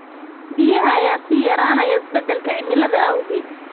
Biyaha ayaa sii yaraanaya isbeddelka cimilada awgeed.